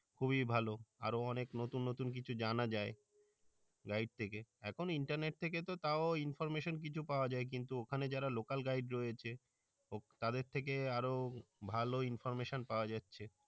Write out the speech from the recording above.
খুবই ভালো আরও অনেক নুতুন নুতুন কিছু জানা যাই guide থেকে এখন internet থেকে তো তাও information কিছু পাওয়া যাই কিন্তু ওখানে যারা local guide রয়েছে তাদের থেকে আরও ভালো information পাওয়া যাচ্ছে